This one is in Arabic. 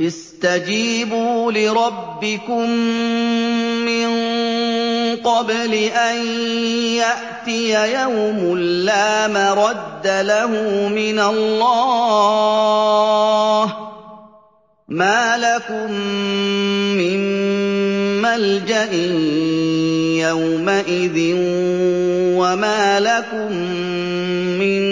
اسْتَجِيبُوا لِرَبِّكُم مِّن قَبْلِ أَن يَأْتِيَ يَوْمٌ لَّا مَرَدَّ لَهُ مِنَ اللَّهِ ۚ مَا لَكُم مِّن مَّلْجَإٍ يَوْمَئِذٍ وَمَا لَكُم مِّن